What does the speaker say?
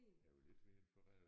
Jeg jo lidt mere influeret af